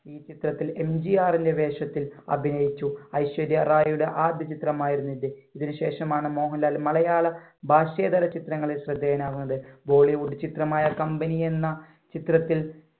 ഈ ചിത്രത്തിൽ MGR ന്‍റെ വേഷത്തിൽ അഭിനയിച്ചു. ഐശ്വര്യ റായിയുടെ ആദ്യചിത്രം ആയിരുന്നു ഇത്. ഇതിനുശേഷം മോഹൻലാൽ മലയാള ഭാഷേതര ചിത്രങ്ങളിൽ ശ്രദ്ധേയനാകുന്നത്. bollywood ചിത്രമായ കമ്പനി എന്ന ചിത്രത്തിൽ